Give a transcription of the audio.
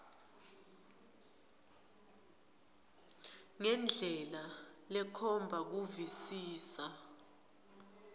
ngendlela lekhomba kuvisisa